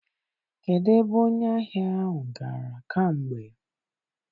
Kedụ ebe onye ahịa ahụ gara kamgbe?